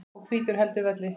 og hvítur heldur velli.